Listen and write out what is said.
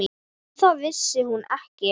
Um það vissi hún ekki.